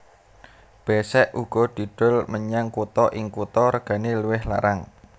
Besek uga didol menyang kutha ing kutha regane luwih larang